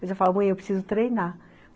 Mas eu falo, mãe, eu preciso treinar.